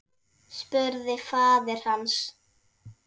spurði faðir hans.